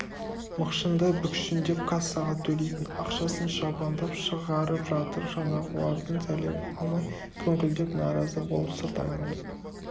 мықшыңдай бүкшіңдеп кассаға төлейтін ақшасын шабандап шығарып жатыр жаңағылардың сәлемін алмай күңкілдеп наразы болып сырт айналып